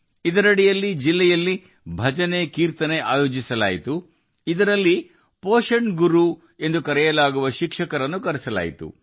ಇದರ ಅಡಿಯಲ್ಲಿ ಜಿಲ್ಲೆಯಲ್ಲಿ ಭಜನೆಕೀರ್ತನೆಗಳನ್ನು ಆಯೋಜಿಸಲಾಯಿತು ಇದರಲ್ಲಿ ಶಿಕ್ಷಕರನ್ನು ಪೌಷ್ಟಿಕಾಂಶದ ಗುರುಗಳಾಗಿ ಕರೆಯಲಾಯಿತು